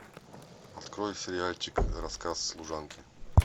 открой сериальчик рассказ служанки